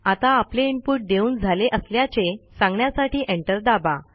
आता आपले इनपुट देऊन झाले असल्याचे सांगण्यासाठी एंटर दाबा